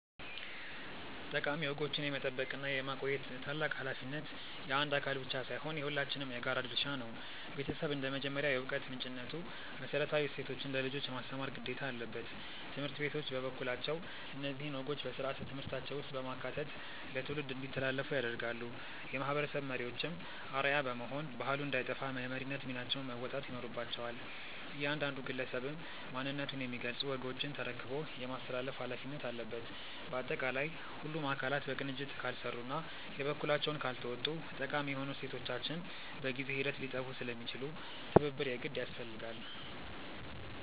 ጠቃሚ ወጎችን የመጠበቅና የማቆየት ታላቅ ኃላፊነት የአንድ አካል ብቻ ሳይሆን የሁላችንም የጋራ ድርሻ ነው። ቤተሰብ እንደ መጀመሪያው የዕውቀት ምንጭነቱ መሰረታዊ እሴቶችን ለልጆች የማስተማር ግዴታ አለበት። ትምህርት ቤቶች በበኩላቸው እነዚህን ወጎች በሥርዓተ ትምህርታቸው ውስጥ በማካተት ለትውልድ እንዲተላለፉ ያደርጋሉ። የማህበረሰብ መሪዎችም አርአያ በመሆን ባህሉ እንዳይጠፋ የመሪነት ሚናቸውን መወጣት ይኖርባቸዋል። እያንዳንዱ ግለሰብም ማንነቱን የሚገልጹ ወጎችን ተረክቦ የማስተላለፍ ኃላፊነት አለበት። ባጠቃላይ ሁሉም አካላት በቅንጅት ካልሰሩና የበኩላቸውን ካልተወጡ ጠቃሚ የሆኑ እሴቶቻችን በጊዜ ሂደት ሊጠፉ ስለሚችሉ ትብብር የግድ ያስፈልጋል።